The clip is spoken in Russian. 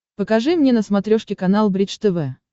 покажи мне на смотрешке канал бридж тв